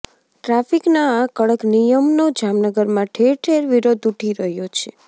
ટ્રાફીકના આ કડક નિયમનો જામનગરમાં ઠેર ઠેર વિરોધ ઉઠી રહ્યો છે